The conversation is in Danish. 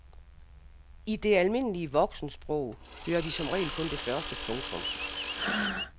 I det almindelige voksensprog hører de som regel kun det første. punktum